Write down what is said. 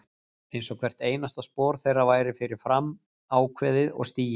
Einsog hvert einasta spor þeirra væri fyrir fram ákveðið og stigið.